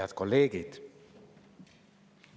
Head kolleegid!